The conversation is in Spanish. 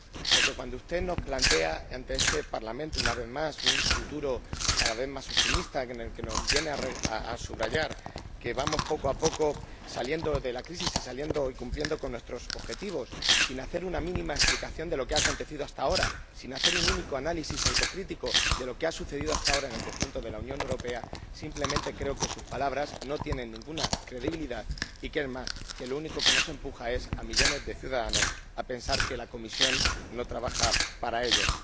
Porque cuando usted nos plantea ante este Parlamento, una vez más, un futuro cada vez más optimista, que nos viene a subrayar que vamos poco a poco saliendo de la crisis y cumpliendo con nuestros objetivos, sin dar una mínima explicación de lo que ha acontecido hasta ahora, sin hacer un único análisis autocrítico de lo que ha sucedido hasta ahora en el conjunto de la Unión Europea, simplemente creo que sus palabras no tienen ninguna credibilidad y, además, que lo único que hace es empujarnos a millones de ciudadanos a pensar que la Comisión no trabaja para ellos.